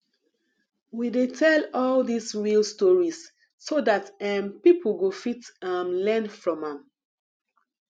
we dey tell all these real stories so dat um people go fit um learn from am